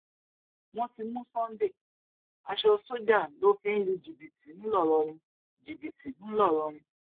wọn ti mú sunday aṣọ sójà ló fi ń lu jìbìtì ńlọrọrìn jìbìtì ńlọrọrìn